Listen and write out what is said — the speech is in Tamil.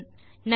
நன்றி